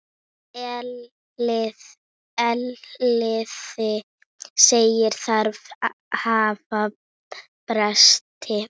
Elliði segir þarfir hafa breyst.